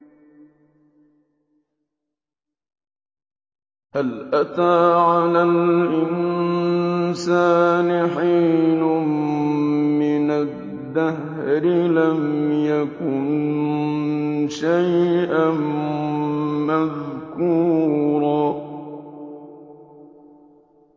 هَلْ أَتَىٰ عَلَى الْإِنسَانِ حِينٌ مِّنَ الدَّهْرِ لَمْ يَكُن شَيْئًا مَّذْكُورًا